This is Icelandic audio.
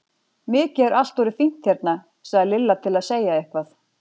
Mikið er allt orðið fínt hérna! sagði Lilla til að segja eitthvað.